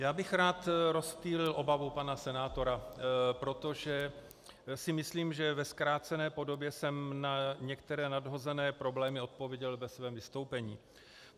Já bych rád rozptýlil obavu pana senátora, protože si myslím, že ve zkrácené podobě jsem na některé nadhozené problémy odpověděl ve svém vystoupení.